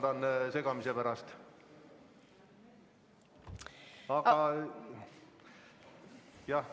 Vabandust segamise pärast!